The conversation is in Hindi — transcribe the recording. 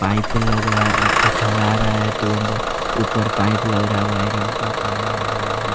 पाइप लगाया है ढला रहा रहा है तुरंत ऊपर पाइप लग रहा है वायरिंग का काम हो रहा है।